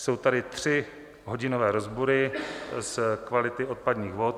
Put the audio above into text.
Jsou tady tři hodinové rozbory s kvalitou odpadních vod.